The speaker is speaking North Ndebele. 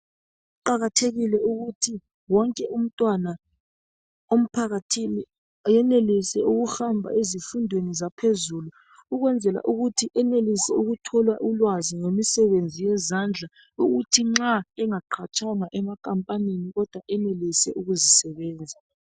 Kuqakathekile ukuthi wonke umntwana emphakathini ayenelise ukuhamba ezifundweni zaphezulu ukwenzela ukuthi enelise ukuthola ulwazi ngemisebenzi yezandla ukuthi nxa engaqatshwanga ema nkampanini kodwa enelise ukuzisebenza.